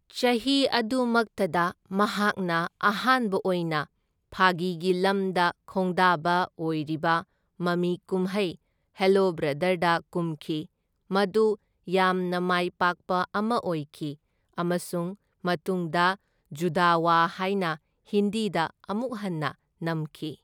ꯆꯍꯤ ꯑꯗꯨꯃꯛꯇꯗ ꯃꯍꯥꯛꯅ ꯑꯍꯥꯟꯕ ꯑꯣꯏꯅ ꯐꯥꯒꯤꯒꯤ ꯂꯝꯗ ꯈꯣꯡꯗꯥꯕ ꯑꯣꯢꯔꯤꯕ ꯃꯃꯤꯀꯨꯝꯍꯩ ꯍꯦꯂꯣ ꯕ꯭ꯔꯗꯔꯗ ꯀꯨꯝꯈꯤ, ꯃꯗꯨ ꯌꯥꯝꯅ ꯃꯥꯢꯄꯥꯛꯄ ꯑꯃ ꯑꯣꯏꯈꯤ, ꯑꯃꯁꯨꯡ ꯃꯇꯨꯡꯗ ꯖꯨꯗꯋꯥ ꯍꯥꯢꯅ ꯍꯤꯟꯗꯤꯗ ꯑꯃꯨꯛ ꯍꯟꯅ ꯅꯝꯈꯤ꯫